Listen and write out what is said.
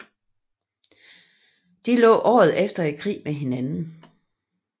De lå året efter i krig med hinanden